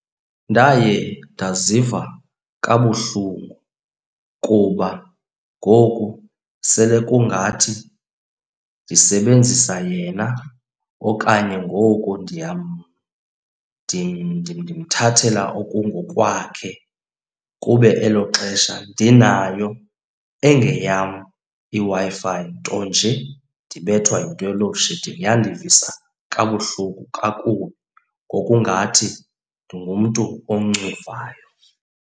Ndaye ndaziva kabuhlungu kuba ngoku sele kungathi ndisebenzisa yena okanye ngoku ndimthathela okungokwakhe kube elo xesha ndinayo engeyam iWi-Fi ntonje ndibethwe yinto ye-load shedding. Yandivisa kabuhlungu kakubi ngokungathi ndingumntu oncuvayo.